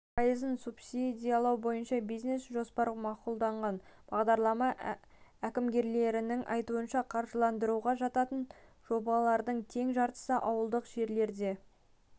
пайызын субсидиялау бойынша бизнес-жоспар мақұлданған бағдарлама әкімгерлерінің айтуынша қаржыландыруға жататын жобалардың тең жартысы ауылдық жерлерде